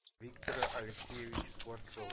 виктора алексеевича скворцова